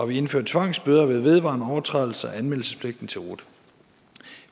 vi indfører tvangsbøder ved vedvarende overtrædelser af anmeldelsespligten til rut